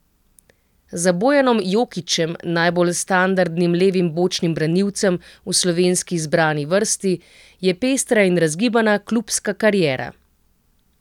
Za Bojanom Jokićem, najbolj standardnim levim bočnim branilcem v slovenski izbrani vrsti, je pestra in razgibana klubska kariera.